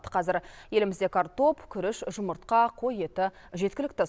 қазір елімізде картоп күріш жұмыртқа қой еті жеткілікті